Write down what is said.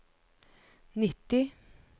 nitti